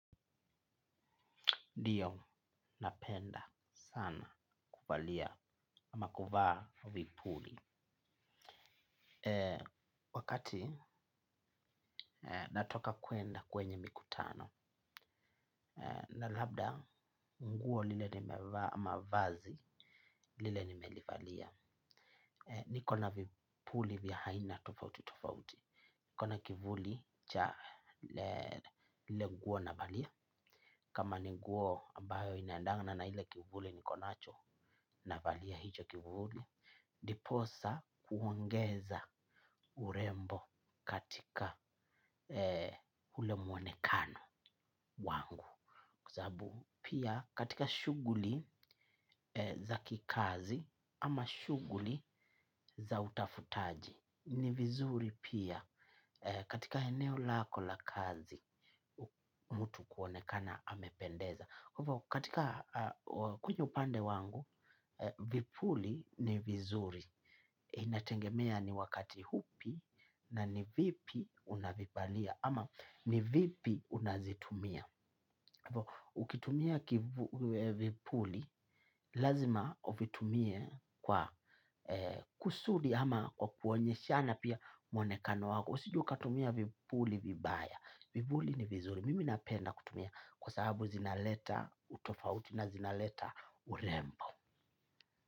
Diyo, napenda sana kuvalia ama kuvaa vipuli. Wakati natoka kwenda kwenye mikutano. Na labda nguo lile nimevaa ama vazi lile nimelivalia. Niko na vipuli vya haina tofauti tofauti. Niko na kivuli cha lile nguo navalia. Kama ni nguo ambayo inaendana na ile kivuli niko nacho navalia hicho kivuli. Ndiposa kuongeza urembo. Katika ule mwonekano wangu kwa sababu pia katika shughuli. Za kikazi ama shughuli za utafutaji. Ni vizuri pia katika eneo lako la kazi mutu kuonekana amependeza. Kwa hivyo katika kwenye upande wangu, vipuli ni vizuri, inatengemea ni wakati hupi na ni vipi unavivalia ama ni vipi unazitumia. Ukitumia vipuli, lazima uvitumie kwa kusudi ama kwa kuonyeshana pia mwonekano wako. Usije ukatumia vipuli vibaya, vipuli ni vizuri, mimi napenda kutumia kwa sababu zinaleta utofauti na zinaleta urembo.